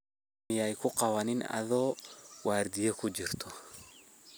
Hurdo miyaa kuqawanin adho wardiya kujirto.